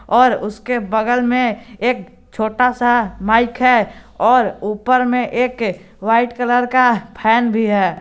और उसके बगल में एक छोटा सा माइक है और ऊपर में एक वाइट कलर का फैन भी है।